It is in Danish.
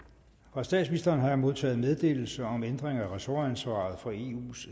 fra statsministeren har jeg modtaget meddelelse om ændring af ressortansvaret for eus